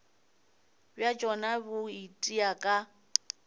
bja tšona bo itia ka